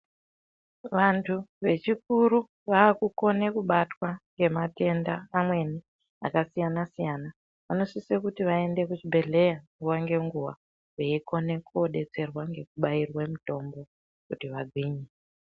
Vantu vechikuru vakukona kubatwa ngematenda amweni akasiyana siyana. Vanosise kuti vaende kuzvibhehleya nguwa ngenguwa veikone kodetserwa ngekobairwa mutombo kuti vagwinye.